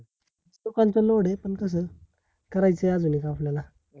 दुकानच load आहे, पण कस आहे करायचंय अजून एक आपल्याला